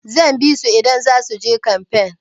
Zan bisu idan zasu je kanfen.